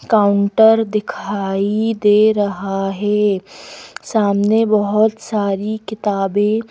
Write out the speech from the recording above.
counter दिखाई दे रहा है सामने बहोत सारी किताबें--